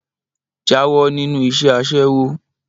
Jáwó̩ nínú is̩é̩ as̩é̩wó!